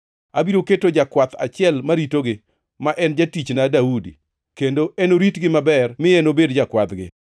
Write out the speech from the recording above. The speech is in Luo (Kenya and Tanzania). Abiro keto jakwath achiel maritogi, ma en jatichna Daudi, kendo enoritgi maber mi enobed jakwadhgi.